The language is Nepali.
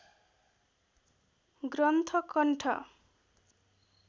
ग्रन्थ कण्ठ